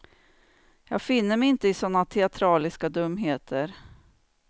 Jag finner mig inte i sådana teatraliska dumheter.